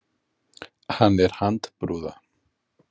Hann er handbrúða.